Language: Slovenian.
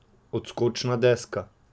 Odskočna deska.